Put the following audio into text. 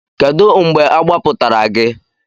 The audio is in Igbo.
Kedu mgbe agbapụtara gị?